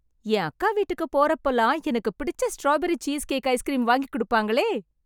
என் அக்கா வீட்டுக்கு போறப்போலாம், எனக்கு பிடிச்ச ஸ்ட்ராபெரி சீஸ் கேக் ஐஸ்க்ரீம் வாங்கிக் குடுப்பாங்களே..